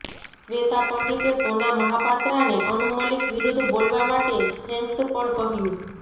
શ્વેતા પંડિતે સોના મહાપાત્રાને અનુ મલિક વિરુદ્ધ બોલવા માટે થેન્ક્સ પણ કહ્યું